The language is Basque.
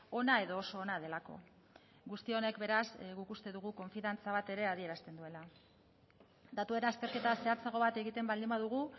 ona edo oso ona delako guzti honek beraz guk uste dugu konfiantza bat ere adierazten duela datuen azterketa zehatzago bat egiten baldin badugu